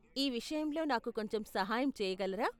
ఈ విషయంలో నాకు కొంచెం సహాయం చేయగలరా?